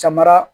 Samara